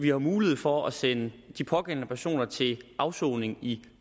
jo mulighed for at sende de pågældende personer til afsoning i